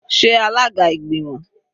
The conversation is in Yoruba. Sé alága ìgbìmọ̀?